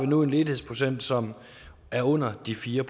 nu en ledighedsprocent som er under de fjerde